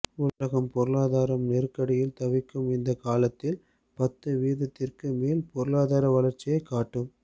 உலகம் பொருளாதார நெருக்கடியில் தவிக்கும் இந்தக் காலத்தில் பத்து வீதத்திற்கு மேல் பொருளாதார வளர்ச்சியைக் காட்டும்